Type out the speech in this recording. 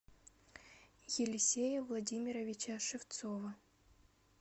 елисея владимировича шевцова